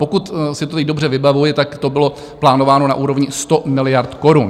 Pokud si to teď dobře vybavuji, tak to bylo plánováno na úrovni 100 miliard korun.